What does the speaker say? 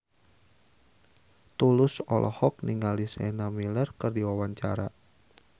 Tulus olohok ningali Sienna Miller keur diwawancara